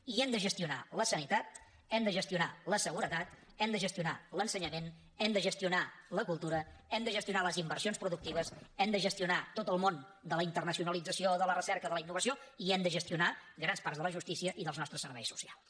i hem de gestionar la sanitat hem de gestionar la seguretat hem de gestionar l’ensenyament hem de gestionar la cultura hem de gestionar les inversions productives hem de gestionar tot el món de la internacionalització de la recerca de la innovació i hem de gestionar grans parts de la justícia i dels nostres serveis socials